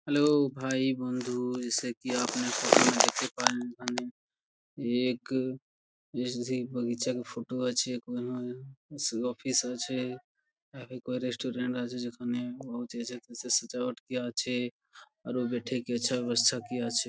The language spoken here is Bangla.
হ্যালো ভাই বন্ধু জেয়সা কি আপ ফটো মে দেখতে পারেন মানে এক ফটো আছে | অফিস আছে রেস্টুরেন্ট আছে | যেখানে আছে |--